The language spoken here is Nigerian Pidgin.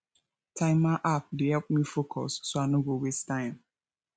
timer app dey help me focus so i no go waste time